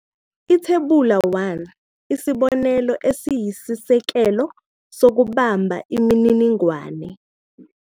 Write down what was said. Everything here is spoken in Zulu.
Ithebula 1- Isibonelo esiyisisekelo sokubamba imininingwane.